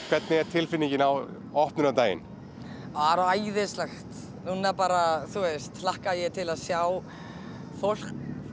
hvernig er tilfinningin á opnunardaginn bara æðisleg núna bara hlakka ég til að sjá fólk